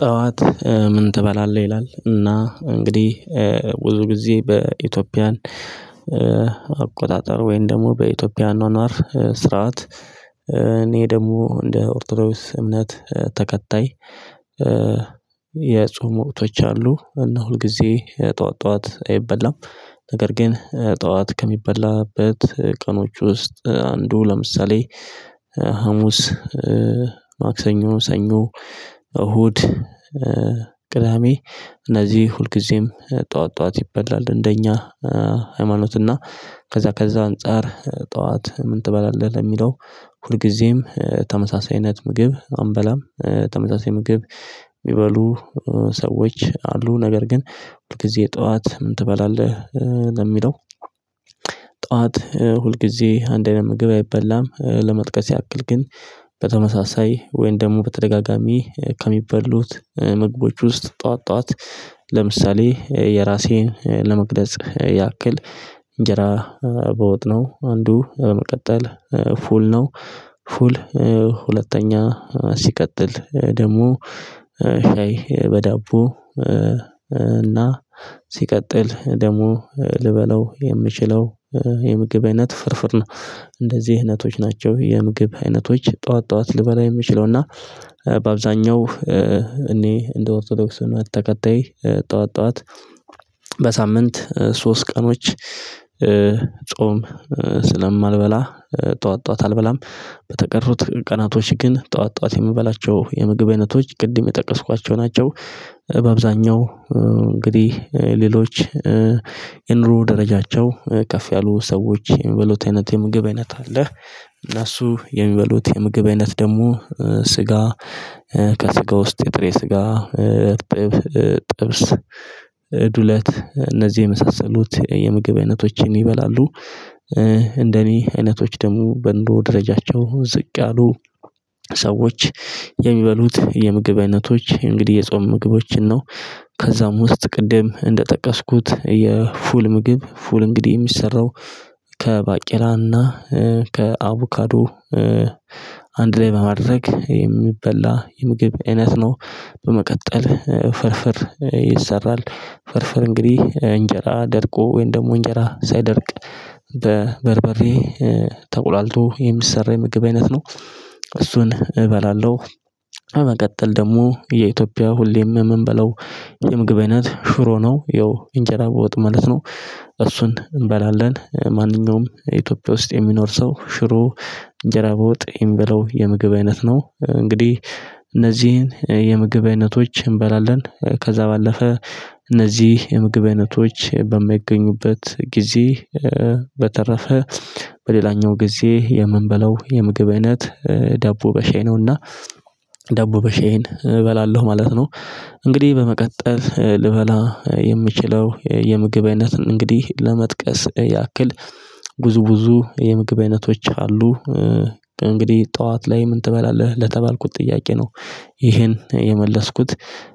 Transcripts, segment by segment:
ጠዋት ምን ትበላለህ ይላል እና እንግዲህ ብዙ ጊዜ በኢትዮጵያን አቆጣጠር ወይም ደግሞ በኢትዮጵያ አኗኗር ስርዓት። እኔ ደግሞ እንደ ኦርቶዶስ እምነት ተከታይ። የጾም ወቅቶች አሉ እና ሁልጊዜ ጠዋት ጠዋት አይበላም። ነገር ግን ጠዋት ከሚበላበት ቀኖች ውስጥ አንዱ ለምሳሌ ሀሙስ ማክሰኞ ሰኞ እሁድ ቅዳሜ እነዚህ ሁልጊዜም ጠዋት ጠዋት ይበላል። እንደኛ ሃይማኖት እና ከዛ ከዛ አንፃር ጠዋት ምን ትበላለህ ለሚለው ሁልጊዜም ተመሳሳይነት ምግብ አንበላም። ተመሳሳይ ምግብ የሚበሉ ሰዎች አሉ ነገር ግን ሁልጊዜ ጠዋት ምን ትበላለህ? ለሚለው ጠዋት ሁልጊዜ አንድ አይነት ምግብ አይበላም ለመጥቀስ ያክል ግን በተመሳሳይ ወይን ደግሞ በተደጋጋሚ ከሚበሉት ምግቦች ውስጥ ጠዋት ጠዋት ለምሳሌ የራሴን ለመግለጽ ያክል እንጀራ በወጥ ነው። አንዱ በመቀጠል ፉል ነው። ፉል ሁለተኛ ሲቀጥል ደግሞ ሻይ በዳቦ እና ሲቀጥል ደግሞ ልበላው የምችለው የምግብ አይነት ፍርፍር ነው። እንደዚህ አይነቶች ናቸው የምግብ አይነቶች ጠዋት ጠዋት ልበላ የምችለው እና በአብዛኛው እኔ እንደ ኦርቶዶክስ እምነት ተከታይ ጠዋት ጠዋት በሳምንት ሶስት ቀኖች ጾም ስለማልበላ ጠዋት ጠዋት አልበላም በተቀርቱት ቀናቶች ግን ጠዋት ጠዋት የምበላቸው የምግብ አይነቶች ቅድም የጠቀስኳቸው ናቸው። በአብዛኛው እንግዲህ ሌሎች የኑሮ ደረጃቸው ከፍ ያሉ ሰዎች የሚበሉት አይነት የምግብ አይነት አለ። እነሱ የሚበሉት የምግብ አይነት ደግሞ ስጋ ከስጋ ውስጥ የጥሬ ስጋ ጥብስ ዱለት እነዚህ የመሳሰሉት የምግብ አይነቶችን ይበላሉ። እንደኔ አይነቶች ደግሞ በእንደው ደረጃቸው ዝቅ ያሉ ሰዎች የሚበሉት የምግብ አይነቶች እንግዲህ የጾም ምግቦችን ነው። ከዛም ውስጥ ቅድም እንደጠቀስኩት የፉል ምግብ ፉል እንግዲህ የሚሰራው ከባቄላና ከአቡካዶ አንድ ላይ በማድረግ የሚበላ የምግብ አይነት ነው። በመቀጠል ፍርፍር ይሰራል ፍርፍር እንግዲህ እንጀራ ደርቆ ወይም ደግሞ እንጀራ ሳይደርቅ በበርበሬ ተቁላልቶ የሚሰራ የምግብ አይነት ነው። እሱን እበላለሁ። በመቀጠል ደግሞ የኢትዮጵያ ሁሌም የምንበለው የምግብ አይነት ሽሮ ነው። ያው እንጀራ በወጥ ማለት ነው። እሱን እንበላለን ማንኛውም ኢትዮጵያ ውስጥ የሚኖር ሰው ሽሮ እንደራበው ጥይም ብለው የምግብ አይነት ነው እንግዲህ እነዚህን የምግብ አይነቶች እንበላለን። ከዛ ባለፈ እነዚህ የምግብ አይነቶች በማይገኙበት ጊዜ በተረፈ በሌላኛው ጊዜ የምንበለው የምግብ እይነት ዳቦ ነውና ደቡበሻዬን እበላለሁ ማለት ነው። እንግዲህ በመቀጠል ልበላ የምችለው የምግብ አይነትን እንግዲህ ለመጥቀስ ያክል ጉዝጉዙ የምግብ አይነቶች አሉ። እንግዲህ ጠዋት ላይ ምን ትበላለህ ለተባልኩት ጥያቄ ነው። ይሄን የመለስኩት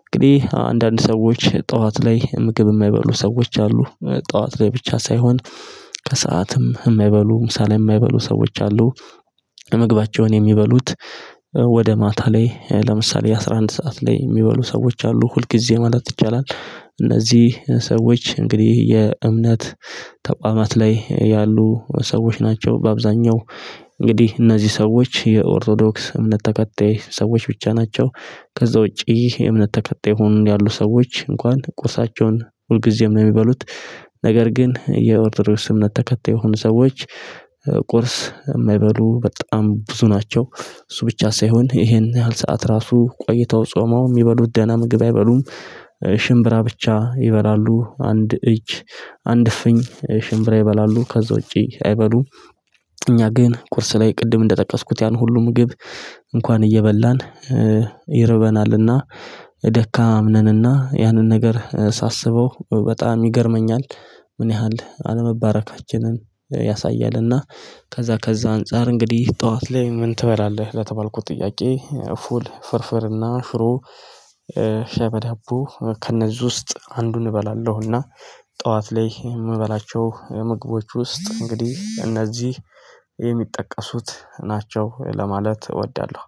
እንግዲህ አንዳንድ ሰዎች ጠዋት ላይ ምግብ የማይበሉ ሰዎች አሉ። ጠዋት ላይ ብቻ ሳይሆን ከሰአትም የማይበሉ ምሳሌ የማይበሉ ሰዎች አሉ። ለመግባቸውን የሚበሉት ወደ ማታ ላይ ለምሳሌ አስራ አንድ ሰዓት ላይ የሚበሉ ሰዎች አሉ ሁል ጊዜ ማለት ይቻላል። እነዚህ ሰዎች እንግዲህ የእምነት ተቋማት ላይ ያሉ ሰዎች ናቸው። በአብዛኛው እንግዲህ እነዚህ ሰዎች የኦርቶዶክስ እምነት ተከታይ ሰዎች ብቻ ናቸው። ከዛ ውጪ ይህ የእምነት ተከታይ ሁኑ ያሉ ሰዎች እንኳን ቁሳቸውን ሁልጊዜም የሚበሉት ነገር ግን የኦርደር ስምነት ተከታይ የሆኑ ሰዎች ቁርስ የማይበሉ በጣም ብዙ ናቸው። እሱ ብቻ ሳይሆን ይሄን ያህል ሰዓት ራሱ ቆይተው ጾመው የሚበሉት ደህና ምግብ አይበሉም። ሽምብራ ብቻ ይበላሉ አንድ እጅ አንድ ፍኝ ሽምብራ ይበላሉ ከዛ ውጪ አይበሉም። ግን ቁርስ ላይ ቅድም እንደጠቀስኩት ያን ሁሉ ምግብ እንኳን እየበላን ይረበናልና ደካማ አምነንና ያንን ነገር ሳስበው በጣም ይገርመኛል። ምን ያህል አለመባረካችንን ያሳያልና። ከዛ ከዛ አንፃር እንግዲህ ጠዋት ላይ ምን ትበላለህ ለተባልኩት ጥያቄ ፉል ፍርፍር እና ሽሩ ሻይ በዳቦ ከእነዚህ ውስጥ አንዱን እበላለሁና። ጠዋት ላይ የምበላቸው ምግቦች ውስጥ እንግዲህ እነዚህ የሚጠቀሱት ናቸው ለማለት እወዳለሁ